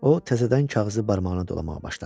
O təzədən kağızı barmağına dolamağa başladı.